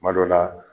Kuma dɔ la